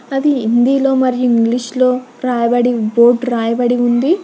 అది హిందీలో మరియు ఇంగ్లీష్ లో రాయబడి బోర్డ్ రాయబడి ఉంది.